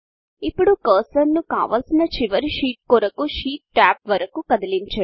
ఇప్పుడు కర్సర్ ను కావలసిన చివరి షీట్ కొరకు షీట్ టాబ్ వరకు కదిలించండి